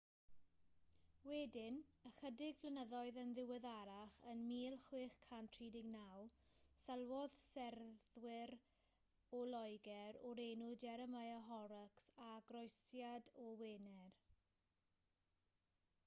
wedyn ychydig flynyddoedd yn ddiweddarach yn 1639 sylwodd seryddwr o loegr o'r enw jeremiah horrocks ar groesiad o wener